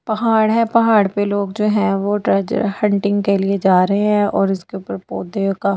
पहाड़ है पहाड़ पे लोग जो है वो ट्रेजर हंटिंग के लिए जा रहे हैं और उसके ऊपर पौधे काफी।